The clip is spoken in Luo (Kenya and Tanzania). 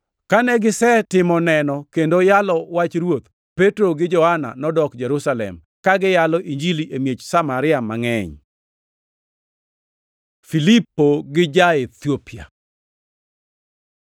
Kane gisetimo neno kendo yalo wach Ruoth, Petro gi Johana nodok Jerusalem, ka giyalo Injili e miech Samaria mangʼeny. Filipo gi ja-Ethiopia